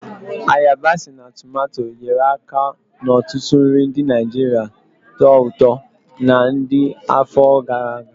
Ayabasi na tumato, nyere aka n'ọtụtụ nri ndị Naijiria tọó ụtọ na ndi afọ gara aga.